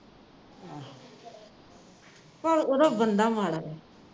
ਪਰ ਓਹਦਾ ਬੰਦਾ ਮਾੜਾ